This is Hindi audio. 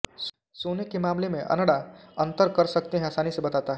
सोने के मामले में अनडा अंतर कर सकते हैं आसानी से बताता है